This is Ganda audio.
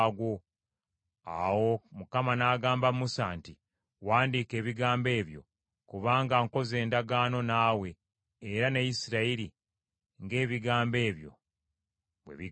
Awo Mukama n’agamba Musa nti, “Wandiika ebigambo ebyo; kubanga nkoze endagaano naawe era ne Isirayiri ng’ebigambo ebyo bwe bigamba.”